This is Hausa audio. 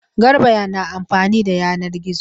Garba na amfani da yanan gizo.